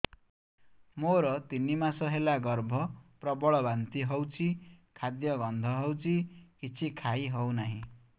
ମୋର ତିନି ମାସ ହେଲା ଗର୍ଭ ପ୍ରବଳ ବାନ୍ତି ହଉଚି ଖାଦ୍ୟ ଗନ୍ଧ ହଉଚି କିଛି ଖାଇ ହଉନାହିଁ